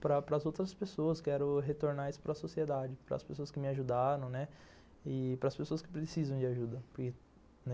Para para as outras pessoas, quero retornar isso para a sociedade, para as pessoas que me ajudaram, né, e para as pessoas que precisam de ajuda.